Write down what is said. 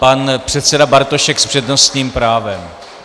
Pan předseda Bartošek s přednostním právem.